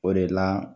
O de la